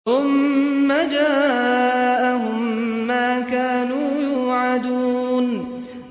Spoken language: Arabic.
ثُمَّ جَاءَهُم مَّا كَانُوا يُوعَدُونَ